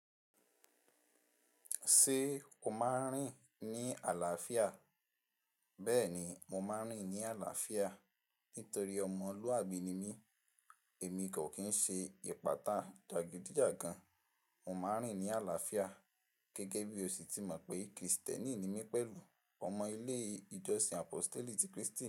Ṣé o máa ń rìn ní àlàáfíà? Bẹ́ẹ̀ni, mo máa ń rìn ní àlàáfíà nítorí ọmọlúàbí ni mí. Èmi kò kín ṣe ìpátá jagidijagan. Mo máa ń rìn ní àlàáfíà gẹ́gẹ́ bí o sì ti mọ̀ pé Kristẹni ni mí pẹ̀lú ọmọ ilé ìjọsìn Apostle ti Kristi.